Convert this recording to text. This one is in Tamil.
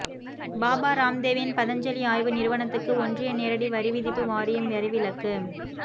பாபா ராம்தேவின் பதஞ்சலி ஆய்வு நிறுவனத்துக்கு ஒன்றிய நேரடி வரிவிதிப்பு வாரியம் வரிவிலக்கு